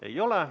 Ei ole.